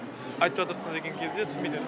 айтып жатырсын деген кезде түсінбейтін еді